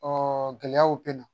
gɛlɛyaw bɛ na